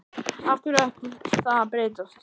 Af hverju ætti það að breytast?